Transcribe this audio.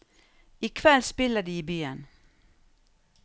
I kveld spiller de i byen.